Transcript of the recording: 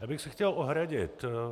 Já bych se chtěl ohradit.